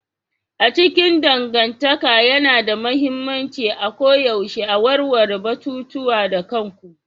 A cikin dangantaka yana da mahimmanci a koyaushe a warware batutuwa da kanku.